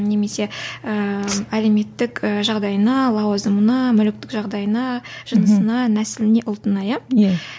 немесе ііі әлеуметтік жағдайына лауазымына мүліктік жағдайына жынысына нәсіліне ұлтына иә иә